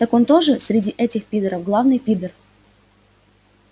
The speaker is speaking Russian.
так он тоже среди этих пидоров главный пидор